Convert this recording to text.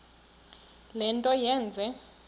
le nto yenze